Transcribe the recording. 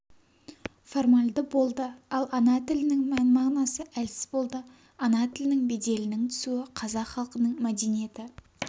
формальды болды ал ана тілінің мән-мағынасы әлсіз болды ана тілінің беделінің түсуі қазақ халқының мәдениеті